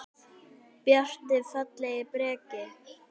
Bjarti, fallegi Breki.